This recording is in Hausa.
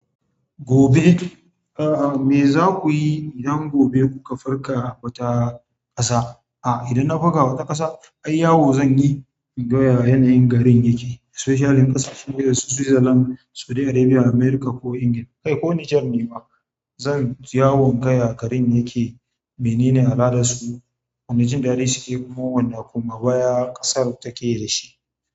Gobe, a a me za ku yi idan gobe kuka farka wata ƙasa? A idan na farka wata ƙasa? Ai yawo zan yi inga yaya yanayin garin yake. Especially ƙasashen gida su Switzerland, Saudi Arabia, America ko England. Kai ko Niger ne ma, zan yi yawo inga ya garin yake, menene al'adarsu, wane jin daɗi suke, kuma wane koma baya ƙasar take da shi.